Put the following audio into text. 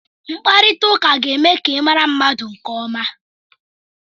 Mkparita ụka ga-eme ka ịmara ndị mmadụ nke ọma.